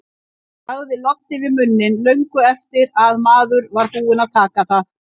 Bragðið loddi við munninn löngu eftir að maður var búinn að taka það.